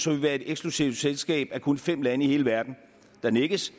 vi være i et eksklusivt selskab af kun fem lande i hele verden der nikkes